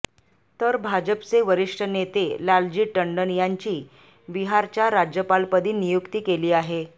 तर भाजपचे वरिष्ठ नेते लालजी टंडन यांची बिहारच्या राज्यपालपदी नियुक्ती केली आहे